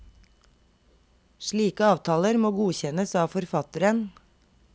Slike avtaler må godkjennes av forfatteren.